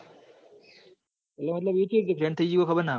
એ મતલભ ફેન થઇ જાય એ ખબર ના પડી